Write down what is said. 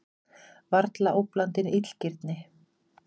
Varla óblandin illgirni?